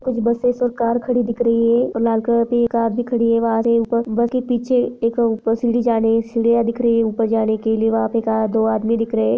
कुछ बसेंस और कार खड़ी दिख रही है लाल कलर की कार दिख रही है बस के पीछे एक सीडी जा रही हैसिडिया दिख रही है दो आदमी भी दिख रहे है।